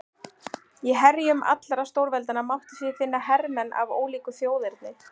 Í herjum allra stórveldanna mátti því finna hermenn af ólíku þjóðerni.